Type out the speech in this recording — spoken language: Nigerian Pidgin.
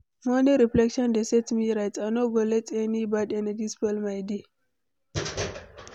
Morning reflection dey set me right, I no go let any bad energy spoil my day.